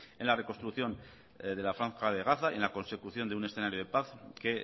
en la reconstrucción de la franja de gaza y en la consecución de un escenario de paz que